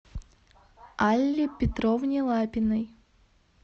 алле петровне лапиной